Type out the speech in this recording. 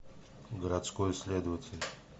городской следователь